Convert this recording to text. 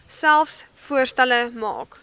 selfs voorstelle maak